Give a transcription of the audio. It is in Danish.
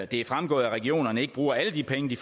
det er fremgået at regionerne ikke bruger alle de penge de